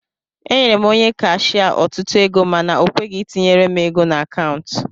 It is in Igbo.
Enyere m Onye kashia otutu ego mana okweghi itinyere m ego na akaụntu